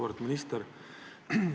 Auväärt minister!